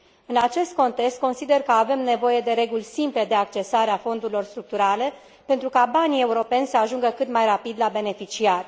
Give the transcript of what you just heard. În acest context, consider că avem nevoie de reguli simple de accesare a fondurilor structurale, pentru ca banii europeni să ajungă cât mai rapid la beneficiari.